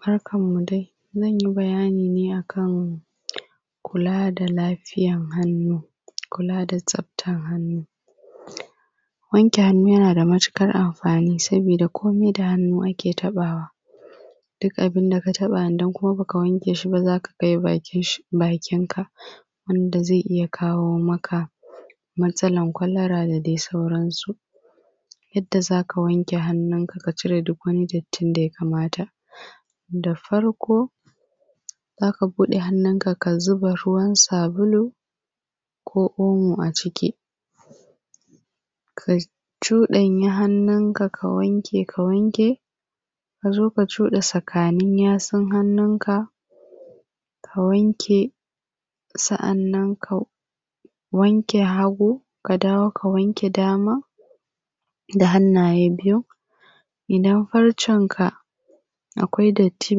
barkan mu dai zan yi bayani ne akan kula da lafiyar hannu kula da tsaftar hannu wanke hannu yana da matuƙar amfani saboda komai da hannu ake taɓawa duk abun da ka taɓa idan kuma baka wanke shi ba zaka kai bakin ka wanda zai iya kawo maka matsalar kwalara dal dai sauran su yanda zaka wanke hannunka ka cire duk wani dattin da ya kamata da farko zaka buɗe hannunka ka zuba ruwan sabulu ko omo a ciki ka cuɗanya hannunka ka wanke ka wanke ka zo ka cuɗa tsakanin yatsun hannunka ka wanke sannan ka wanke hagu ka dawo ka wanke dama da hannaye biyun idan farcen ka akwai datti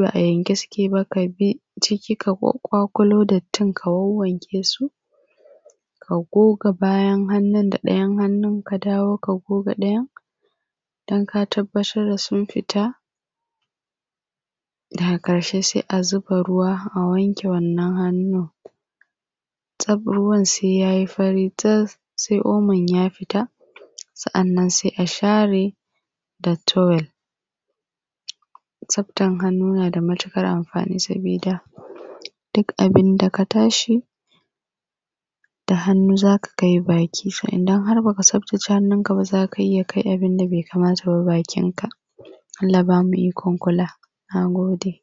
ba a yanke suke ba ka bi ciki ka wanke ka ƙwaƙulo dattin ka wanwanke su ka goga bayan hannun da ɗayan hannun ka dawo ka goga ɗayan don ka tabbatar da sun fita daga ƙarshe sai a zuba ruwa a wanke wannan hannun tsaf ruwan sai yayi fari tas sai omon ya fita sannan sai a share da towel tsaftar hannu na da matuƙar amfani sabida duk abunda ka taɓa shi da hannu zaka kai baki to idan har baka tsaftace hannun kaba zaka iya kai abunda bai kamata ba bakin ka Allah bamu ikon kula nagode